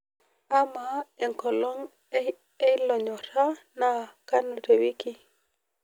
amaa enkolong' ee iloonyorra naa kanu te wiki